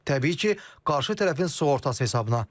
Təbii ki, qarşı tərəfin sığortası hesabına.